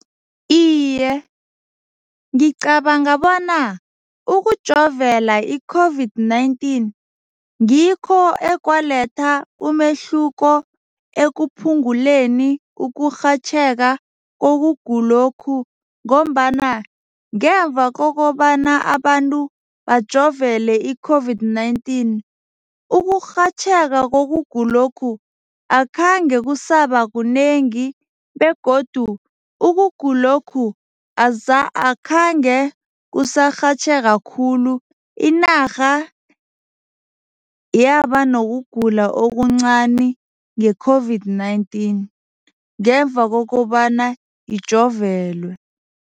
Iye, ngicabanga bona ukujovela i-COVID-19 ngikho ekwaletha umehluko ekuphunguleni ukurhatjheka ngokugulokhu ngombana ngemva kokobana abantu bajovele i-COVID-19 ukurhatjheka kokugulokhu akhange kusaba kunengi begodu ukugulokhu akhange kusarhatjheka khulu. Inarha yaba nokugula okuncani nge-COVID-19 ngemva kokobana ijovelwe.